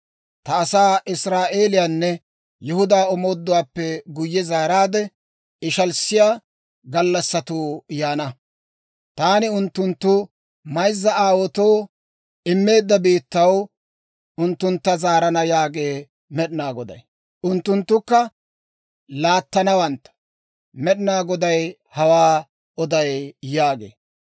Ta asaa Israa'eeliyaanne Yihudaa omooduwaappe guyye zaaraadde ishalissiyaa gallassatuu yaana; taani unttunttu mayzza aawaatoo immeedda biittaw unttuntta zaarana yaagee Med'inaa Goday; unttunttukka laattanawantta. Med'inaa Goday hawaa oday» yaagee.